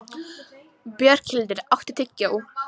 Björghildur, áttu tyggjó?